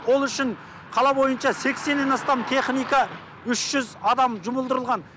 ол үшін қала бойыншы сексеннен астам техника үш жүз адам жұмылдырылған